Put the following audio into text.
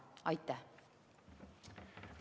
Aitäh!